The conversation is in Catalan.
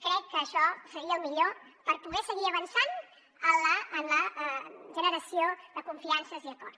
crec que això seria el millor per poder seguir avançant en la generació de confiances i acord